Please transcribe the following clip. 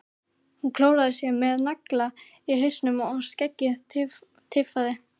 Hann klóraði sér með nagla í hausnum og skeggið tifaði.